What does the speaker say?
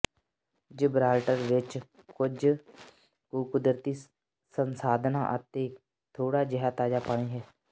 Gibraltar ਵਿਚ ਕੁੱਝ ਕੁ ਕੁਦਰਤੀ ਸੰਸਾਧਨਾਂ ਅਤੇ ਥੋੜਾ ਜਿਹਾ ਤਾਜ਼ਾ ਪਾਣੀ ਹੈ